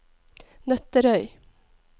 Nøtterøy